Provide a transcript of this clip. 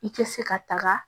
I tɛ se ka taga